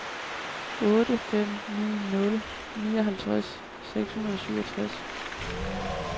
otte fem ni nul nioghalvtreds seks hundrede og syvogtres